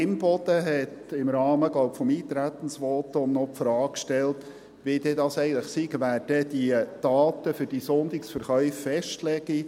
Imboden hat im Rahmen ihres Eintretensvotums – glaube ich – noch die Frage gestellt, wie denn das eigentlich sei: wer die Daten für die Sonntagsverkäufe festlege.